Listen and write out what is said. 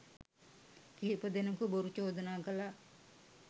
කිහිප දෙනකු බොරු චෝදනා කළා.